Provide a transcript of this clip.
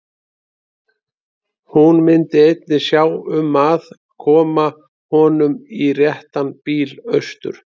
Hún myndi einnig sjá um að koma honum í réttan bíl austur.